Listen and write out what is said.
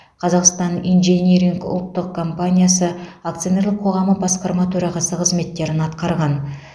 қазақстан инжиниринг ұлттық компаниясы акционерлік қоғамы басқарма төрағасы қызметтерін атқарған